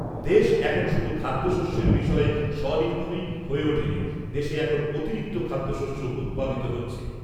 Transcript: দেশ এখন শুধু খাদ্যশস্যের বিষয়ে স্বনির্ভরই হয়ে ওঠেনি, দেশে এখন অতিরিক্ত খাদ্যশস্য উৎপাদিত হচ্ছে।